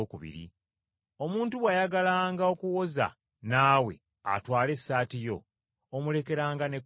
Omuntu bw’ayagalanga okuwoza naawe atwale essaati yo, omulekeranga n’ekkooti yo.